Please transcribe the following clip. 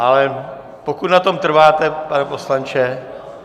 Ale pokud na tom trváte, pane poslanče?